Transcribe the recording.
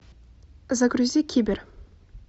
загрузи кибер